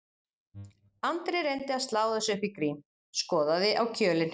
Andri reyndi að slá þessu upp í grín, skoðaði á kjölinn